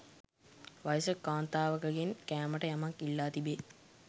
වයසක කාන්තාවකගෙන් කෑමට යමක් ඉල්ලා තිබේ.